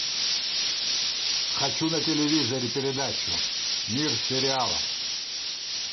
хочу на телевизоре передачу мир сериала